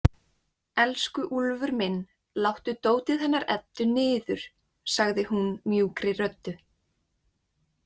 Elsku Úlfur minn, láttu dótið hennar Eddu niður, sagði hún mjúkri röddu.